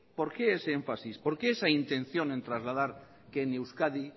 por qué ese énfasis por qué esa intención en trasladar que en euskadi